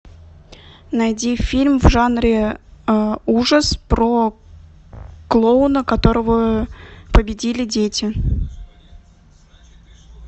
найди фильм в жанре ужас про клоуна которого победили дети